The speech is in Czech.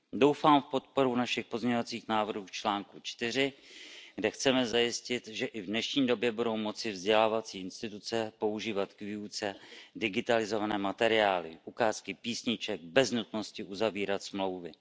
Doufám v podporu našich pozměňovacích návrhů k článku 4, kde chceme zajistit, že i v dnešní době budou moci vzdělávací instituce používat k výuce digitalizované materiály, ukázky písniček bez nutnosti uzavírat smlouvy.